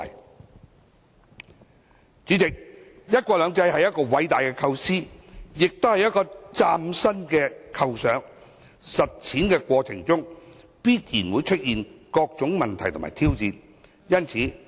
代理主席，"一國兩制"是偉大的構思，亦是嶄新的構想，在實踐過程中必然會出現各種問題和挑戰。